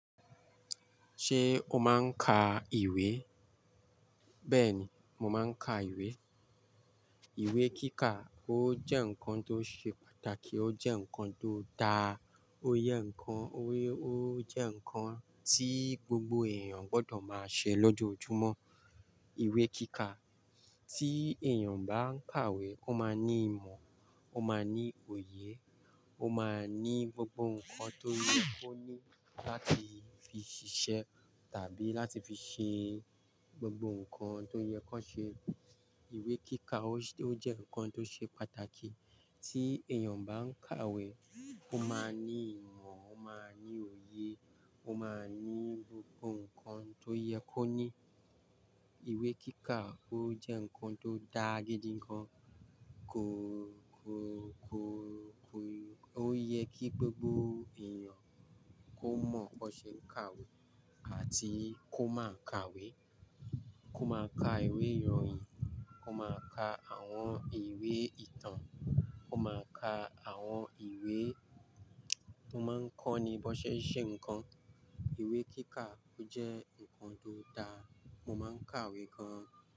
Ṣé o máa ń ka ìwé? Bẹ́ẹ̀ni, mo máa ń ka ìwé. Ìwé kíkà ó jẹ́ nǹkan tó ṣe pàtàkì, ó jẹ́ nǹkan tó dáa, ó yẹ nǹkan, ó jẹ́ nǹkan tí gbogbo èèyàn gbọdọ̀ máa ṣe lọ́jọ́ ojúmọ́. Ìwé kíkà tí èèyàn bá ń kàwé, ó máa ní ìmọ̀, ó máa ní òye, ó máa ní gbogbo nǹkan tó yẹ kó ní láti fi ṣiṣẹ́ tàbí láti fi ṣe gbogbo nǹkan tó yẹ kan ṣe. Ìwé kíkà ó jẹ́ nǹkan tó ṣe pàtàkì tí èèyàn bá ń kàwé, ó máa ní ìmọ̀, ó máa ní òye, ó máa ní gbogbo nǹkan tó yẹ kó ní. Ìwé kíkà ó jẹ́ nǹkan tó dá gidi gan. Kò, kò, kò, kò, ó yẹ kí gbogbo èèyàn kó mọ̀ kó ṣe kàwé àti kó máa kàwé, kó máa ka ìwé ìròyìn, kó máa ka àwọn ìwé ìtàn, kó máa ka àwọn ìwé mo máa ń kọ́ni bó ṣe ń ṣe nnkan. Ìwé kíkà ó jẹ́ nǹkan tó dáa. Mo máa ń kàwé gan.